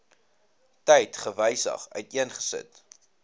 tyd gewysig uiteengesit